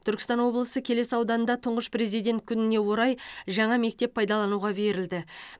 түркістан облысы келес ауданында тұңғыш президент күніне орай жаңа мектеп пайдалануға берілді